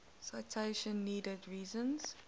citation needed reason